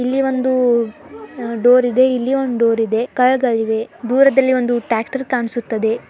ಇಲ್ಲಿ ಒಂದು ಡೋರ್ ಇದೆ ಇಲ್ಲಿ ಒಂದು ಡೋರ್ ಇದೆ ಕಾರ್ಗಳಿವೆ ದೂರದಲ್ಲಿ ಒಂದು ಟ್ರ್ಯಾಕ್ಟರ್ ಕಾಣ್ಸುತ್ತದೆ .